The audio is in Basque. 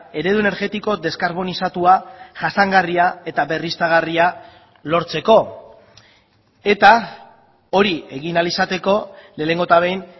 eredu energetiko deskarbonizatua jasangarria eta berriztagarria lortzeko eta hori egin ahal izateko lehenengo eta behin